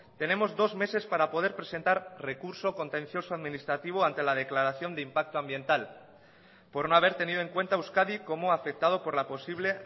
tenemos dos meses para poder presentar recurso contencioso administrativo ante la declaración de impacto ambiental por no haber tenido en cuenta e euskadi como afectado por la posible